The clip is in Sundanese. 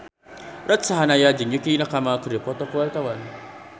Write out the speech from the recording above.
Ruth Sahanaya jeung Yukie Nakama keur dipoto ku wartawan